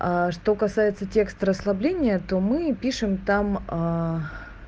что касается текст расслабления то мы пишем там